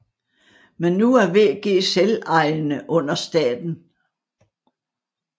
Men nu er VG selvejende under staten